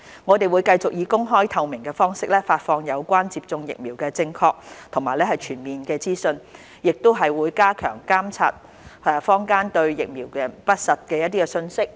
我們會繼續以公開、透明的方式發放有關接種疫苗的正確和全面資訊，亦會加強監察坊間對疫苗的不實信息，有需要時會立刻澄清。